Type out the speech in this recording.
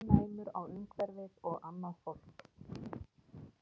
Hann var mjög næmur á umhverfið og á annað fólk.